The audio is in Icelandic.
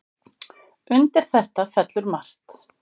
Undir þetta fellur margt.